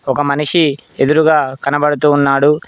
ఒక మనిషి ఎదురుగా కనపడుతూ ఉన్నాడు.